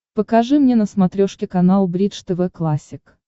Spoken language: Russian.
покажи мне на смотрешке канал бридж тв классик